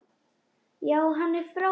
Já, hann er frábær.